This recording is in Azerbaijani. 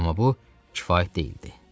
Amma bu kifayət deyildi.